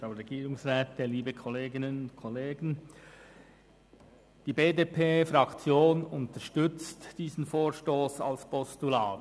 Die BDP-Fraktion unterstützt diesen Vorstoss als Postulat.